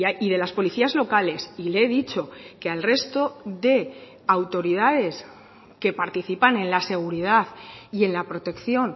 y de las policías locales y le he dicho que al resto de autoridades que participan en la seguridad y en la protección